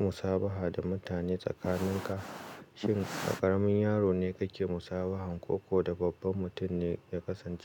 musabaha da mutane tsakaninka? Shin ƙaramin yaro ne kake musabahan ko da babban mutum ne ya kasance?